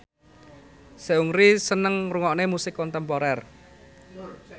Seungri seneng ngrungokne musik kontemporer